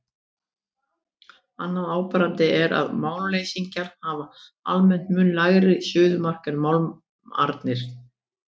Annað áberandi er að málmleysingjarnir hafa almennt mun lægra suðumark en málmarnir.